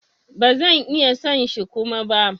Ba zan iya son shi Kuma ba.